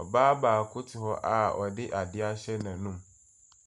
Ɔbaa baako te hɔ a ɔde adeɛ ahyɛ n'anum.